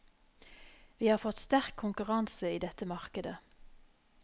Vi har fått sterk konkurranse i dette markedet.